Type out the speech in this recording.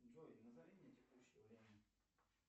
джой назови мне текущее время